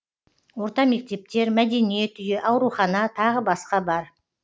орта мектептер мәдениет үйі аурухана тағы басқа бар